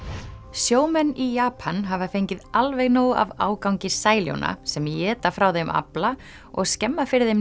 sjómenn í Japan hafa fengið alveg nóg af ágangi sæljóna sem éta frá þeim afla og skemma fyrir þeim